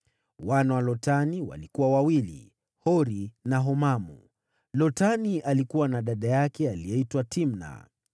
Wana wa Lotani walikuwa wawili: Hori na Homamu. Lotani alikuwa na dada yake aliyeitwa Timna.